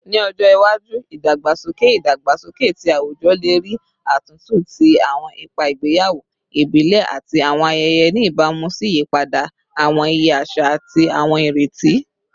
Ni ojo iwaju, idagbasoke idagbasoke ti awujọ le rii atuntu ti awọn ipa igbeyawo ibile ati awọn ayẹyẹ, ni ibamu si iyipada awọn iye aṣa ati awọn ireti